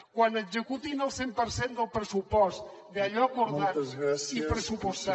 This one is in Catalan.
quan executin el cent per cent del pressupost d’allò acordat i pressupostat